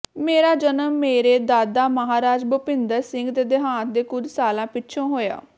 ਮੇਰਾ ਜਨਮ ਮੇਰੇ ਦਾਦਾ ਮਹਾਰਾਜਾ ਭੁਪਿੰਦਰ ਸਿੰਘ ਦੇ ਦੇਹਾਂਤ ਦੇ ਕੁਝ ਸਾਲਾਂ ਪਿੱਛੋਂ ਹੋਇਆ